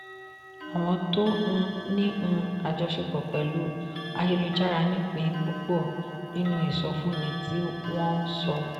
àwọn tó um ní um àjọṣepọ̀ pẹ̀lú ayélujára nípìn púpọ̀ nínú ìsọfúnni tí wọ́n sọ.